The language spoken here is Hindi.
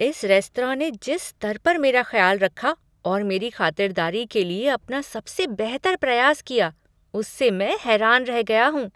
इस रेस्तरां ने जिस स्तर पर मेरा ख्याल रखा और मेरी ख़ातिरदारी के लिए अपना सबसे बेहतर प्रयास किया उससे मैं हैरान रह गया हूँ।